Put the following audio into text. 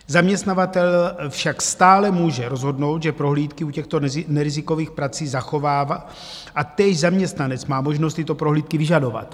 Zaměstnavatel však stále může rozhodnout, že prohlídky u těchto nerizikových prací zachová, a též zaměstnanec má možnost tyto prohlídky vyžadovat.